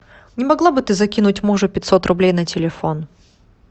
не могла бы ты закинуть мужу пятьсот рублей на телефон